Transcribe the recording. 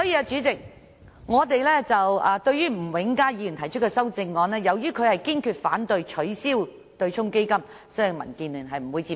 主席，吳永嘉議員在他的修正案中表明工商業界堅決反對取消對沖機制，民建聯不會接受。